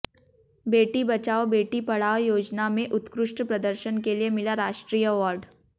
बेटी बचाओं बेटी पढ़ाओं योजना में उत्कृष्ट प्रदर्शन के लिए मिला राष्ट्रीय अवार्ड